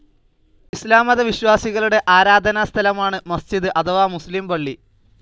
ഇസ്‌ലാം മത വിശ്വാസികളുടെ ആരാധനാസ്ഥലമാണ് മസ്ജിദ് അഥവാ മുസ്‌ലിം പള്ളി.